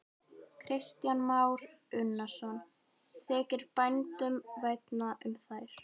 Kristján Már Unnarsson: Þykir bændum vænna um þær?